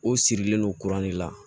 O sirilen no kuran de la